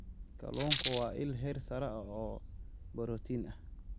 Kalluunku waa il heer sare ah oo borotiin ah.